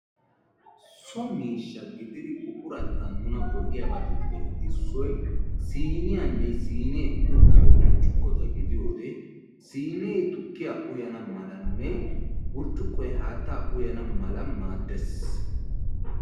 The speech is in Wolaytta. Soo miishsha gididi buquratettan nuna go'iyabatuppe issoy siiniyane siine uttiyo burccukota gidiyode siine tukkiyaa uyyana malane burccukkoy haattaa uyana mala maadees.